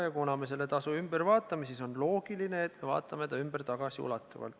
Ja kuna me seda tasu sel alusel muudame, siis on loogiline, et me muudame seda tagasiulatuvalt.